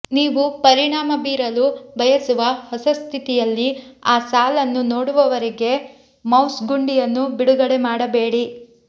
ನೀವು ಪರಿಣಾಮ ಬೀರಲು ಬಯಸುವ ಹೊಸ ಸ್ಥಿತಿಯಲ್ಲಿ ಆ ಸಾಲನ್ನು ನೋಡುವವರೆಗೆ ಮೌಸ್ ಗುಂಡಿಯನ್ನು ಬಿಡುಗಡೆ ಮಾಡಬೇಡಿ